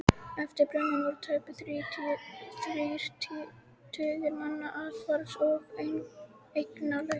Eftir brunann voru tæpir þrír tugir manna athvarfs- og eignalausir.